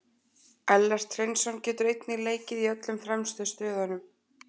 Ellert Hreinsson getur einnig leikið í öllum fremstu stöðunum.